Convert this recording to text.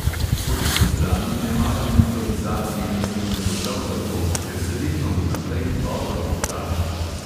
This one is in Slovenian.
Po drugi strani ne maram improvizacije na snemanju prav zato, ker se vedno vnaprej dobro pripravim.